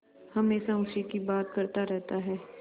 हमेशा उसी की बात करता रहता है